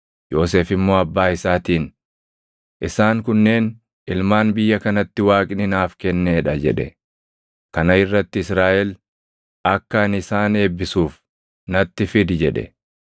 Yoosef immoo abbaa isaatiin, “Isaan kunneen ilmaan biyya kanatti Waaqni naaf kennee dha” jedhe. Kana irratti Israaʼel, “Akka ani isaan eebbisuuf natti fidi” jedhe.